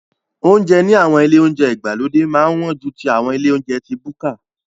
Oúnjẹ ní àwọn ilé oúnjẹ ìgbàlódé máa ń wọ́n ju ti àwọn ilé oúnjẹ ti búkà.